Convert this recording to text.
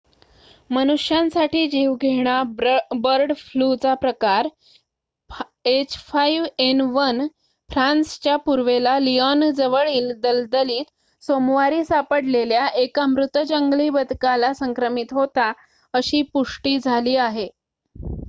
मनुष्यांसाठी जीवघेणा बर्ड फ्लूचा प्रकार h5n1 फ्रान्सच्या पूर्वेला लियोनजवळील दलदलीत सोमवारी सापडलेल्या एका मृत जंगली बदकाला संक्रमित होता अशी पुष्टि झाली आहे